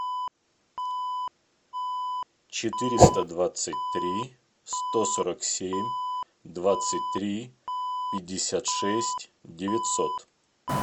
четыреста двадцать три сто сорок семь двадцать три пятьдесят шесть девятьсот